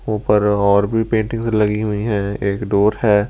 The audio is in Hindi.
ऊपर और भी पेंटिंग्स लगी हुई हैं एक डोर है।